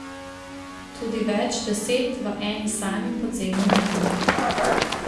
Tudi več deset v eni sami podzemni jami ...